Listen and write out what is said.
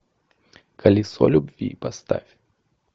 колесо любви поставь